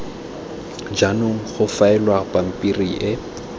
jaanong go faelwa pampiri e